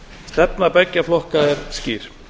stefna beggja flokka er skýr